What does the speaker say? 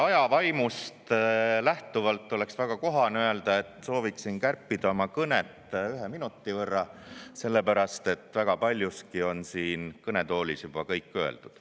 Aja vaimust lähtuvalt oleks väga kohane öelda, et sooviksin kärpida oma kõnet ühe minuti võrra, sellepärast et väga paljuski on siin kõnetoolis juba kõik öeldud.